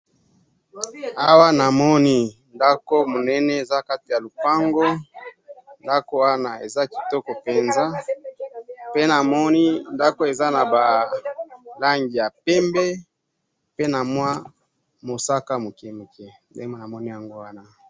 awa na moni ndaku monene eza kati ya lupango ndaku wana eza kitoko penza pe na moni nduku eza ba langi pembe pe na mwa mosaka mokemoke